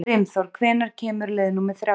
Brimþór, hvenær kemur leið númer þrjátíu?